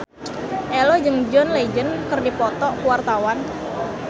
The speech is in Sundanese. Ello jeung John Legend keur dipoto ku wartawan